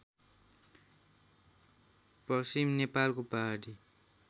पश्चिम नेपालको पहाडी